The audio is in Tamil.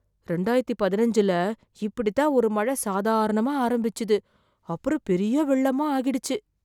ரெண்டாயிரத்து பதினஞ்சுல இப்படித் தான் ஒரு மழ சாதாரணமா ஆரம்பிச்சது, அப்புறம் பெரிய வெள்ளமா ஆகிடுச்சு.